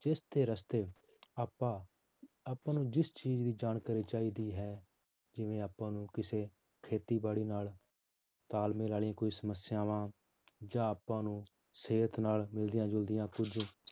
ਜਿਸ ਦੇ ਰਸਤੇ ਆਪਾਂ ਆਪਾਂ ਨੂੰ ਜਿਸ ਚੀਜ਼ ਦੀ ਜਾਣਕਾਰੀ ਚਾਹੀਦੀ ਹੈ ਜਿਵੇਂ ਆਪਾਂ ਨੂੰ ਕਿਸੇ ਖੇਤੀਬਾੜੀ ਨਾਲ ਤਾਲਮੇਲ ਵਾਲੀਆਂ ਕੋਈ ਸਮੱਸਿਆਵਾਂ ਜਾਂ ਆਪਾਂ ਨੂੰ ਸਿਹਤ ਨਾਲ ਮਿਲਦੀਆਂ ਜੁਲਦੀਆਂ ਕੁੱਝ